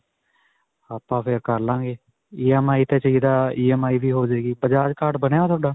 ਆਪਾਂ ਫਿਰ ਕਰ ਲਵਾਂਗੇ EMI 'ਤੇ ਚਾਹਿਦਾ EMI ਵੀ ਹੋ ਜਾਵੇਗੀ. bajaj card ਬਣਿਆ ਤੁਹਾਡਾ?